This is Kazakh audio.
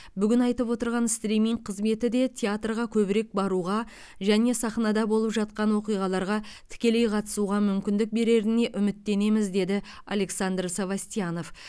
бүгін айтып отырған стриминг қызметі де театрға көбірек баруға және сахнада болып жатқан оқиғаларға тікелей қатысуға мүмкіндік береріне үміттенеміз деді александр совостьянов